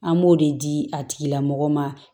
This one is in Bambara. An b'o de di a tigilamɔgɔw ma